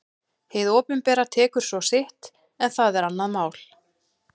Hið opinbera tekur svo sitt en það er annað mál.